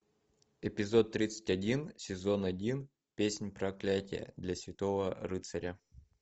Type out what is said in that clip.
эпизод тридцать один сезон один песнь проклятия для святого рыцаря